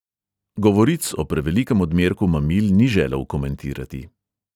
Govoric o prevelikem odmerku mamil ni želel komentirati.